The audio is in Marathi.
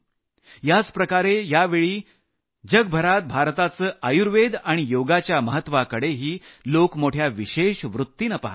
अशा प्रकारे भारताच्या आणि योगाच्या महत्वाकडेही लोक मोठ्या विशेष वृत्तीनं पहात आहेत